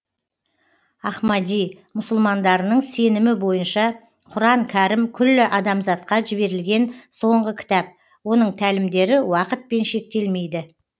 ахмади мұсылмандарының сенімі бойынша құран кәрім күллі адамзатқа жіберілген соңғы кітап оның тәлімдері уақытпен шектелмейді